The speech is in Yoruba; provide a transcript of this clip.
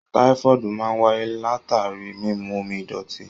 Tifọdu máa n wáyé latari mímú omi idọti.